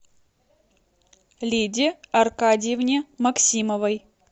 лиде аркадьевне максимовой